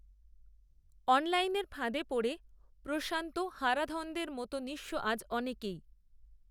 অনলাইনের ফাঁদে পড়ে প্রশান্ত হারাধনদের মতো নিঃস্ব আজ অনেকেই